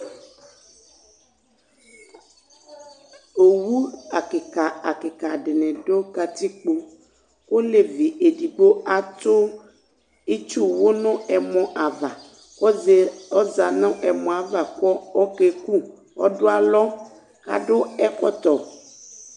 Owu akika akika dini dù katikpo, olevi edigbo atù itsuwũ nu ɛmɔ ava, ɔza nu ɛmɔ ava ku ɔkaekú ,ɔdu alɔ k'adu ɛkɔtɔ